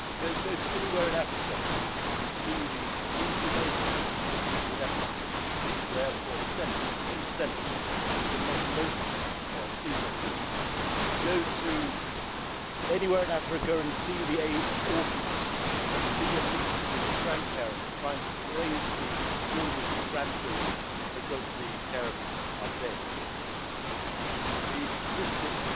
Go anywhere in Africa and see the inhumane treatment of people with epilepsy, whereas for a few cents, we could make most of them seizure free. Go anywhere in Africa and see the AIDS orphans and see and meet the grandparents trying to raise the grandchildren because the parents are dead. The statistics